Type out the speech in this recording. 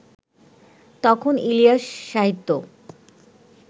তখন ইলিয়াস-সাহিত্য